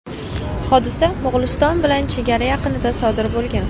Hodisa Mo‘g‘uliston bilan chegara yaqinida sodir bo‘lgan.